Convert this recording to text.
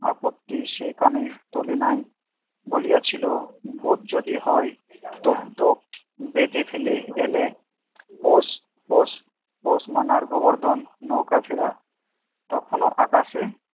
আপত্তি সে কানে তোলে নাই বলিয়াছিল ভূত যদি হয় তো তো বেঁধে ফেলে এনে পোষ পোষ পোষ মানার গোবর্ধন নৌকা ফেরা তখনও আকাশে